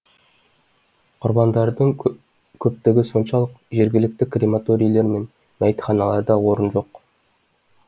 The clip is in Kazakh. құрбандардың көптігі соншалық жергілікті крематорийлер мен мәйітханаларда орын жоқ